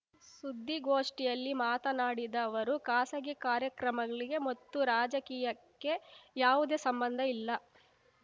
ಸುದ್ದಿಗೋಷ್ಠಿಯಲ್ಲಿ ಮಾತನಾಡಿದ ಅವರು ಖಾಸಗಿ ಕಾರ್ಯಕ್ರಮಗಳಿಗೆ ಮತ್ತು ರಾಜಕೀಯಕ್ಕೆ ಯಾವುದೇ ಸಂಬಂಧ ಇಲ್ಲ